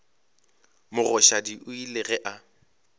mogoshadi o ile ge a